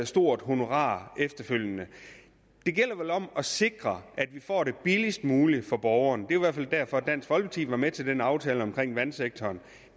stort honorar efterfølgende det gælder vel om at sikre at vi får det billigst muligt for borgeren det i hvert fald derfor at dansk folkeparti var med til den aftale om vandsektoren